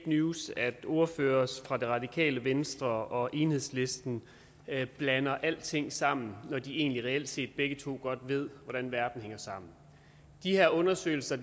news at ordførere fra det radikale venstre og enhedslisten blander alting sammen når de egentlig reelt set begge to godt ved hvordan verden hænger sammen de her undersøgelser